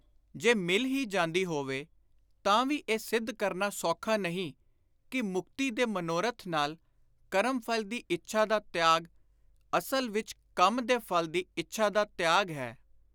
ਜੇ ਮਿਲ ਹੀ ਜਾਂਦੀ ਹੋਵੇ ਤਾਂ ਵੀ ਇਹ ਸਿੱਧ ਕਰਨਾ ਸੌਖਾ ਨਹੀਂ ਕਿ ਮੁਕਤੀ ਦੇ ਮਨੋਰਥ ਨਾਲ ਕਰਮ-ਫਲ ਦੀ ਇੱਛਾ ਦਾ ਤਿਆਗ ਅਸਲ ਵਿਚ ਕੰਮ ਦੇ ਫਲ ਦੀ ਇੱਛਾ ਦਾ ਤਿਆਗ ਹੈ।